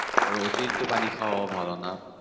আর অতিরিক্ত পানি খাওয়াও ভালো না।